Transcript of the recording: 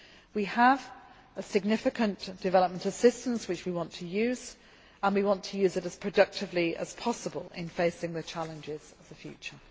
We have significant development assistance, which we want to use and we want to use it as productively as possible in facing the challenges of the future.